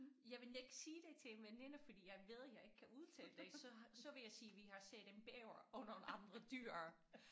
Jeg ville ikke sige det til en veninde fordi jeg ved jeg ikke kan udtale det så har så ville jeg sige vi har set en bæver og nogle andre dyr